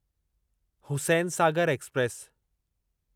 Hussain Sagar express